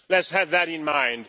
Let's have that in mind.